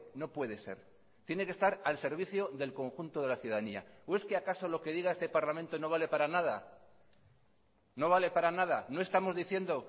no puede ser tiene que estar al servicio del conjunto de la ciudadanía o es que acaso lo que diga este parlamento no vale para nada no vale para nada no estamos diciendo